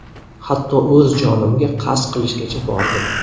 Hatto o‘z jonimga qasd qilishgacha bordim.